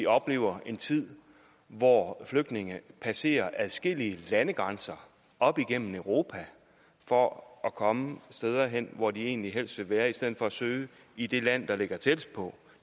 opleve en tid hvor flygtninge passerer adskillige landegrænser op igennem europa for at komme steder hen hvor de egentlig helst vil være i stedet for at søge i det land der ligger tættest på